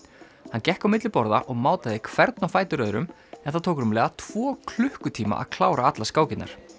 hann gekk á milli borða og mátaði hvern á fætur öðrum en það tók rúmlega tvo klukkutíma að klára allar skákirnar